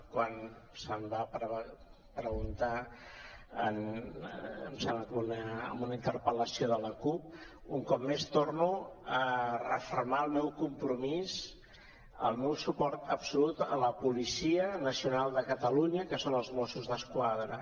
quan se’m va preguntar em sembla que en una interpel·lació de la cup torno a refermar el meu compromís el meu suport absolut a la policia nacional de catalunya que són els mossos d’esquadra